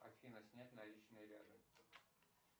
афина снять наличные рядом